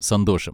സന്തോഷം.